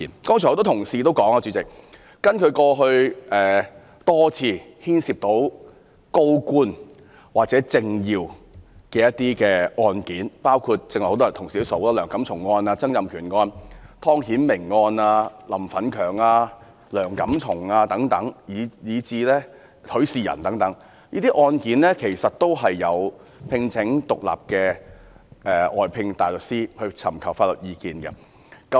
剛才很多議員指出，根據過去多次牽涉高官或政要的案件，包括同事剛剛提及的梁錦松案、曾蔭權案、湯顯明案、林奮強案，以及許仕仁案等，這些案件其實也有聘請獨立的外間大律師尋求法律意見。